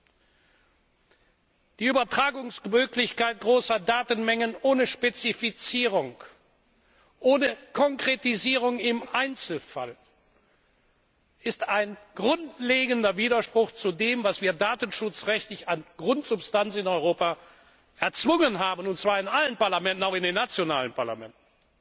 Die Möglichkeit der Übertragung großer Datenmengen ohne Spezifizierung, ohne Konkretisierung im Einzelfall ist ein grundlegender Widerspruch zu dem, was wir datenschutzrechtlich an Grundsubstanz in Europa erzwungen haben, und zwar in allen Parlamenten, auch in den nationalen Parlamenten.